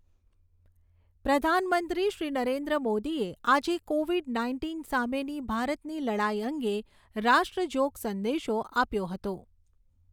પ્રધાનમંત્રી શ્રી નરેન્દ્ર મોદીએ આજે કોવિડ નાઇન્ટીન સામેની ભારતની લડાઈ અંગે રાષ્ટ્રજોગ સંદેશો આપ્યો હતો.